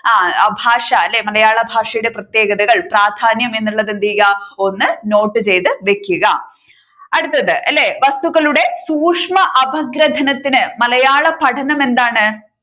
ആ ഭാഷ അല്ലെ മലയാള ഭാഷയുടെ പ്രത്യേകതകൾ പ്രാധാന്യം എന്നുള്ളത് എന്ത് ചെയ്യുക ഒന്ന് നോട്ട് ചെയ്തു വെക്കുക അടുത്തത് അല്ലെ വസ്തുക്കളുടെ സൂക്ഷ്മ അപഗ്രഥനത്തിന് മലയാള പഠനം എന്താണ്